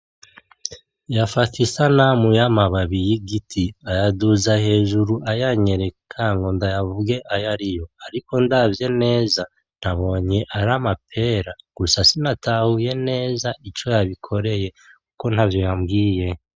Yafata isanamu y'amababi y'igiti ayaduza hejuru ayanyereka ngo ndayavuge ayariyo, ariko ndavye neza nabonye ari amapera, gusa sinatahuye neza ico yabikoreye kuko ntavyo yambwiye.